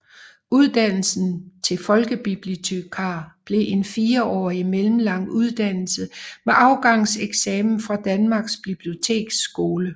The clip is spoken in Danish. Uddannelsen til folkebibliotekar blev en fireårig mellemlang uddannelse med afgangseksamen fra Danmarks Biblioteksskole